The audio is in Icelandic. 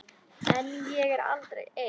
En ég er aldrei ein.